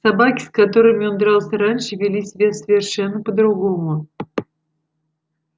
собаки с которыми он дрался раньше вели себя совершенно по-другому